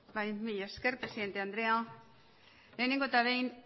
mila esker presidente andrea lehenengo eta behin